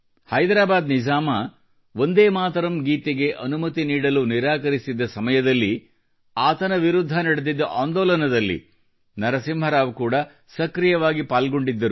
ಹೈದರಾಬಾದ್ ನಿಜಾಮ ವಂದೇ ಮಾತರಂ ಗೀತೆಗೆ ಅನುಮತಿ ನೀಡಲು ನಿರಾಕರಿಸಿದ್ದ ಸಮಯದಲ್ಲಿ ಆತನ ವಿರುದ್ಧ ನಡೆದಿದ್ದ ಆಂದೋಲನದಲ್ಲಿ ನರಸಿಂಹರಾವ್ ಕೂಡ ಸಕ್ರಿಯವಾಗಿ ಪಾಲ್ಗೊಂಡಿದ್ದರು